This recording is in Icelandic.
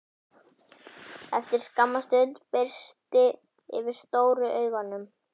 Eftir skamma stund birti yfir stóru augunum.